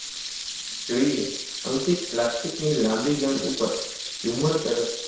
અંકિત પ્લાસ્ટિકની લાંબી ગન, ઉપર ઝુમ્મર તરફ